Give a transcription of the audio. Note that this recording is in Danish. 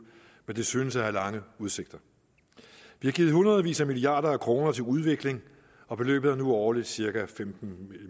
men det synes at have lange udsigter vi har givet hundredvis af milliard kroner til udvikling og beløbet er nu årligt cirka femten